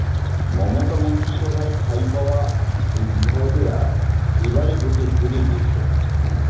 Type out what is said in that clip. মমতা মন্ত্রিসভায় ঠাঁই পাওয়া এই বিধায়কেরা এবারে ভোটে হেরে গিয়েছেন